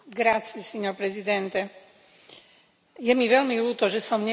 Je mi veľmi ľúto, že som nemohla podporiť túto iniciatívnu správu.